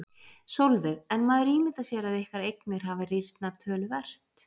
Sólveig: En maður ímyndar sér að ykkar eignir hafi rýrnað töluvert?